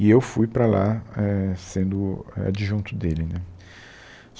E eu fui para lá eh sendo adjunto dele né.